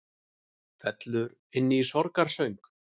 Fellur inn í sorgarsöng